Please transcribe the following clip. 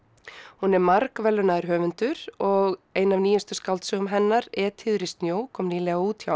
hún er margverðlaunaður höfundur og ein af nýjustu skáldsögum hennar Etýður í snjó kom nýlega út hjá